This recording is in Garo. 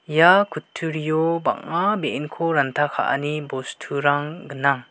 ia kutturio bang·a be·enko ranta ka·ani bosturang gnang.